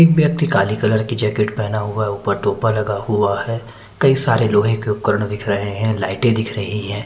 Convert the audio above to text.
एक व्यक्ति काली कलर की जेकिट पेहना हुआ है उपर टोपा लगा हुआ है कई सारे लोहे के उपकरण दिख रहे है लाइटे दिख रही है।